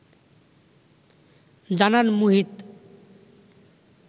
জানান মুহিত